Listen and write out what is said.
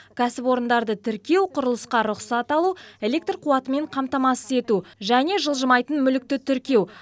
кәсіпорындарды тіркеу құрылысқа рұқсат алу электр қуатымен қамтамасыз ету және жылжымайтын мүлікті тіркеу